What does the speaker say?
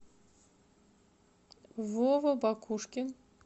вова бакушкин